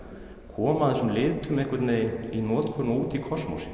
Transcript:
koma þessum litum í notkun og út í